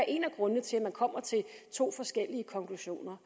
en af grundene til at man kommer til to forskellige konklusioner